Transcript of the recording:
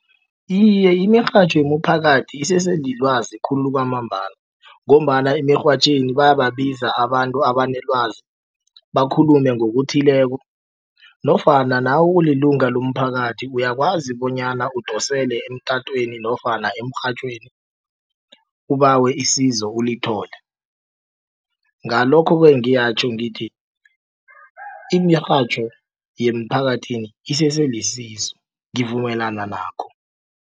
Iye imirhatjho yemiphakathi isese lilwazi khulu kwamambala ngombana emirhatjhweni bayababiza abantu abanelwazi bakhulume ngokuthileko nofana nawe ulilunga lomphakathi uyakwazi bonyana udosele emtatweni nofana emrhatjhweni ubawe isizo ulithole. Ngalokho ke ngiyatjho ngithi imirhatjho yeemphakathini isese lisizo ngivumelana nakho.